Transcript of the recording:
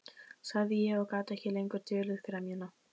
sagði ég og gat ekki lengur dulið gremjuna.